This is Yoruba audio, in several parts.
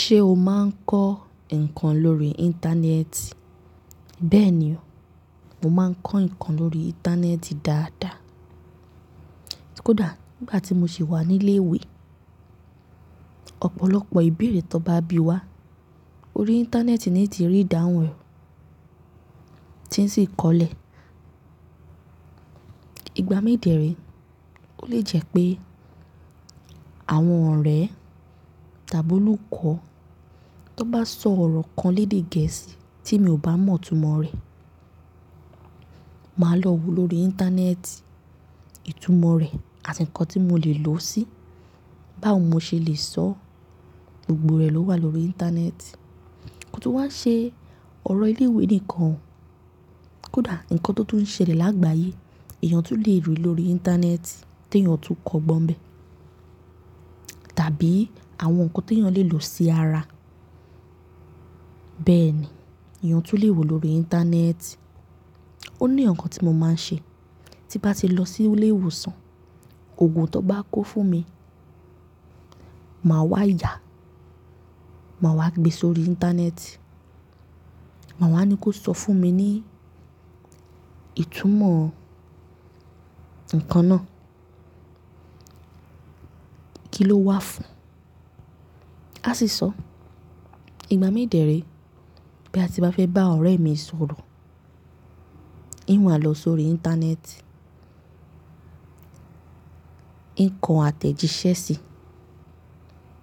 Ṣé o máa ń kọ́ ǹkan lórí Íńtánẹ́ẹ̀tì? Bẹ́ẹ̀ni o, mo máa ń kọ́ ǹkan lórí Íńtánẹ́ẹ̀tì dáadáa. Kódà nígbà tí mo sì wà ní ilé ìwé, ọ̀pọ̀lọpọ̀ ìbéèrè tó bá bí wá, orí Íńtánẹ́ẹ̀tì ni ti rí ìdáhùn rẹ̀ tí ń sì kọlẹ̀. Ìgbà mí dèérè, ó lè jẹ́ pé àwọn ọ̀rẹ́ tàbí olùkọ́ tó bá sọ ọ̀rọ̀ kan lédè Gẹ̀ẹ́sì tí mi ò bá mọ̀ ìtumọ̀ rẹ̀, màá lọ wo lórí Íńtánẹ́ẹ̀tì ìtumọ̀ rẹ̀ àti ǹkan tí mo lè lò ó sí, báwo mo ṣe lè sọ, gbogbo rẹ̀ ló wà lórí Íńtánẹ́ẹ̀tì. Ko tó wá ṣe ọ̀rọ̀ ilé ìwé nìkan, kódà ǹkan tó tó ń ṣẹlẹ̀ lágbàáyé èèyàn tún le rí lórí Íńtánẹ́ẹ̀tì tí èèyàn tún kọ́ gbọ́n bẹ́ẹ̀ tàbí àwọn ǹkan tí èèyàn lè lò sí ara. Bẹ́ẹ̀ni, èèyàn tún le wo lórí Íńtánẹ́ẹ̀tì. Ó ní ǹkan tí mo máa ń ṣe, tí bá ti lọ sí ilé ìwòsàn, òògùn tó bá kó fún mi, màá wá yà, màá wá gbé sórí Íńtánẹ́ẹ̀tì, màá wá ní kó sọ fún mi ní ìtumọ̀ ǹkan náà, kí ló wá fún. Á sì sọ, ìgbà mí dèérè, boya ti bá fẹ́ bá ọ̀rẹ́ mi sọ̀rọ̀, ín wà lọ sórí Íńtánẹ́ẹ̀tì. Ìn ko àtẹ̀jíṣẹ́ sì,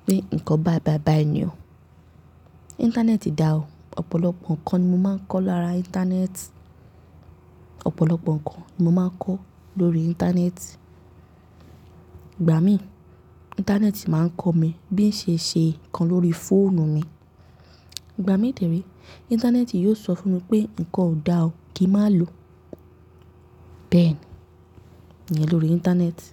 pé ǹkan bàìbàì báa ni o. Íńtánẹ́ẹ̀tì dá o, ọ̀pọ̀lọpọ̀ ǹkan ni mo máa ń kọ́ lára Íńtánẹ́ẹ̀tì. Ọ̀pọ̀lọpọ̀ ǹkan ni mo máa ń kọ́ lórí Íńtánẹ́ẹ̀tì. Ìgbà mí Íńtánẹ́ẹ̀tì máa ń kọ́ mi bí ń ṣe ṣe ǹkan lórí fóònù mi. Ìgbà mí dèérè, Íńtánẹ́ẹ̀tì yóò sọ fún mi pé ǹkan ò dá o, kí má lò. Bẹ́ẹ̀ni, iyen lorí Íńtánẹ́ẹ̀tì.